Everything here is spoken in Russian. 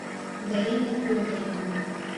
дарина федоровна